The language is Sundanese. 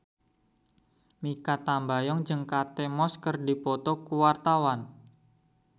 Mikha Tambayong jeung Kate Moss keur dipoto ku wartawan